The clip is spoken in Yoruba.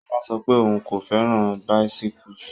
Sola sọ pé òun kò fẹ́ràn bicyles.